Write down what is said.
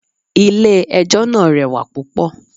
Ilẹ̀ ẹjọ́ náà rẹwà púpọ̀.